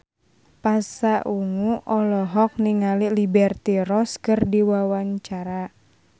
Pasha Ungu olohok ningali Liberty Ross keur diwawancara